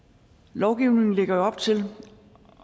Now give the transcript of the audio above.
lovgivningen lægger op til